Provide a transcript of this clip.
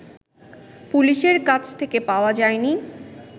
পুলিশের কাছ থেকে পাওয়া যায়নি